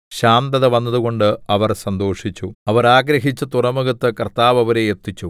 ശാന്തത വന്നതുകൊണ്ട് അവർ സന്തോഷിച്ചു അവർ ആഗ്രഹിച്ച തുറമുഖത്ത് കർത്താവ് അവരെ എത്തിച്ചു